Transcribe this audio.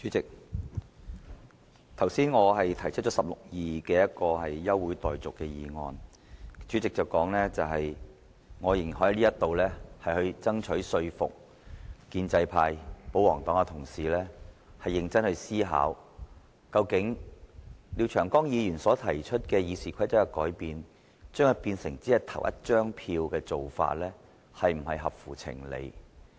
主席，我剛才根據《議事規則》第162條動議休會待續的議案，主席表示我仍然可在此爭取說服建制派、保皇黨的同事認真思考，究竟對於廖長江議員就《議事規則》提出的修訂，現時採取只是投一票的做法是否合乎情理？